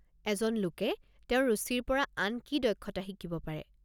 এজন লোকে তেওঁৰ ৰুচিৰ পৰা আন কি দক্ষতা শিকিব পাৰে?